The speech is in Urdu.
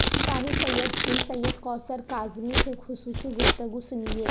شاہی سید کی سید کوثر کاظمی سے خصوصی گفتگو سنیئے